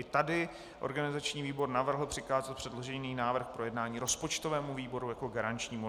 I tady organizační výbor navrhl přikázat předložený návrh k projednání rozpočtovému výboru jako garančnímu.